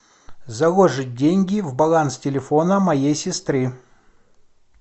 заложить деньги в баланс телефона моей сестры